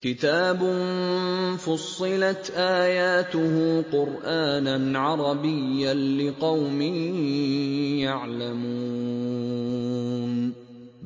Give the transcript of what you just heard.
كِتَابٌ فُصِّلَتْ آيَاتُهُ قُرْآنًا عَرَبِيًّا لِّقَوْمٍ يَعْلَمُونَ